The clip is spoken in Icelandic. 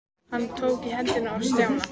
Hann tók í hendina á Stjána.